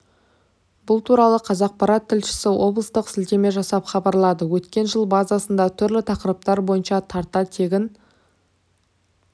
бұл туралы қазақпарат тілшісі облыстық сілтеме жасап хабарлады өткен жылы базасында түрлі тақырыптар бойынша тарта тегін